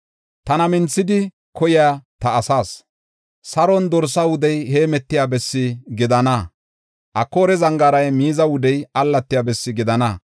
Tana minthidi koyiya ta asaas, Saaroni dorsa wudey heemetiya bessi gidana; Akoora zangaaray miiza wudey allatiya bessi gidana.